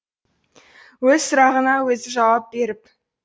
өз сұрағына өзі жауап беріп